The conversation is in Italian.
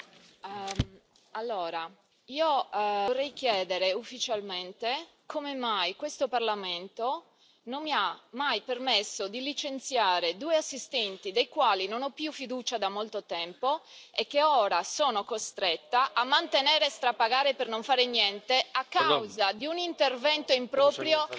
Signor Presidente, onorevoli colleghi, io vorrei chiedere ufficialmente come mai questo Parlamento non mi ha mai permesso di licenziare 2 assistenti nei quali non ho più fiducia da molto tempo e che ora sono costretta a mantenere e strapagare per non fare niente a causa di un intervento improprio